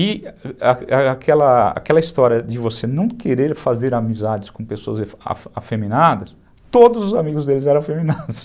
E aquela aquela aquela história de você não querer fazer amizades com pessoas afeminadas, todos os amigos deles eram afeminados